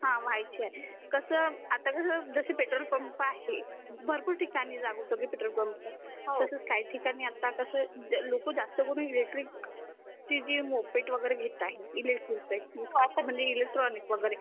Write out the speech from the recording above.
हो व्हायचे आहे कसं आता कसं जसे पेट्रोल पंप आहे भरपूर ठिकाणी जागोजागी पेट्रोल पंप तसचं काही ठिकाणी आत्ता लोक जास्त करून इलेक्ट्रिक जे जे मोपेड वगैरे घेत आहेत इलेक्ट्रिक चे म्हणजे इलेक्ट्रॉनिक वगैरे